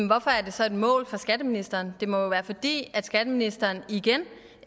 hvorfor er det så et mål for skatteministeren det må jo være fordi skatteministeren igen